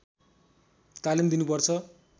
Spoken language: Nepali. तालिम दिनुपर्छ